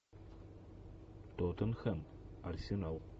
тоттенхэм арсенал